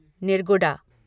Nirguda